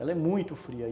Ela é muito fria.